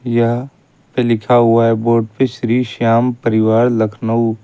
यह पे लिखा हुआ है बोर्ड पे श्री श्याम परिवार लखनऊ--